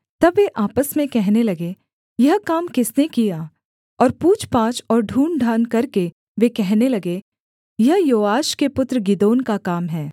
तब वे आपस में कहने लगे यह काम किसने किया और पूछपाछ और ढूँढ़ढाँढ़ करके वे कहने लगे यह योआश के पुत्र गिदोन का काम है